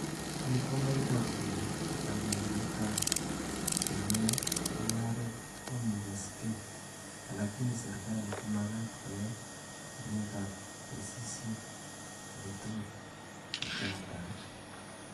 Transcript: Ni komaiboru kole kibagengeitab chenamu mugaret komoimugaskei, alakini serikali komagat koyani alietab tesisyit aketugul nechamdaat